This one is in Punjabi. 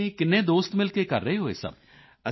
ਤੁਸੀਂ ਕਿੰਨੇ ਦੋਸਤ ਮਿਲ ਕੇ ਕਰ ਰਹੇ ਹੋ ਇਹ ਸਭ